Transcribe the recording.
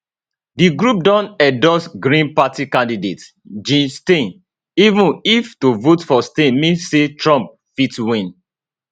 di group don endorse green party candidate jill stein even if to vote for stein mean say trump fit win